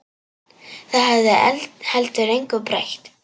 Það hefði heldur engu breytt.